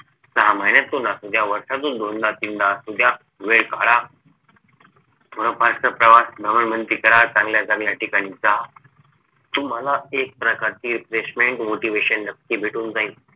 सहा महिन्यातून असू द्या वर्षातून दोनदा तीनदा असू द्या वेळ काढा तुम्हाला पहाट प्रवास भ्रमण भ्रमंती करा चांगल्या चांगल्या ठिकाणी जा तुम्हाला एक प्रकारची refreshment motivation नक्की भेटून जाईल